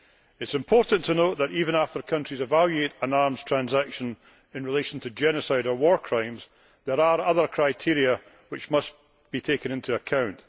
It is important to note that, even after countries evaluate an arms transaction in relation to genocide or war crimes, there are other criteria which must be taken into account.